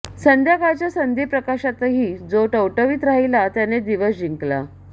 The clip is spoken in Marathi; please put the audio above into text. संध्याकाळच्या संधीप्रकाशातही जो टवटवीत राहीला त्याने दिवस जिंकला